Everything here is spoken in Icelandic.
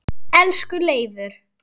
Elsku Leifur.